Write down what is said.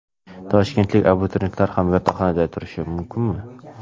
Toshkentlik abituriyentlar ham yotoqxonada turishi mumkinmi?